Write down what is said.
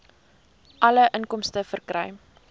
alle inkomste verkry